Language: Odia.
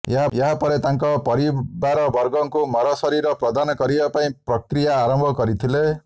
ଏହାପରେ ତାଙ୍କ ପରିବାରବର୍ଗଙ୍କୁ ମରଶରୀର ପ୍ରଦାନ କରିବା ପାଇଁ ପ୍ରକ୍ରିୟା ଆରମ୍ଭ କରିଥିଲେ